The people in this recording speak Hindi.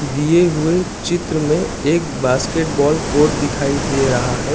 दिए हुए चित्र में एक बास्केट बॉल कोड दिखाई दे रहा है।